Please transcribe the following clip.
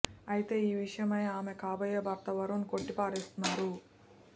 అయితే ఈ విషయమై ఆమె కాబోయే భర్త వరుణ్ కొట్టి పారేస్తున్నారు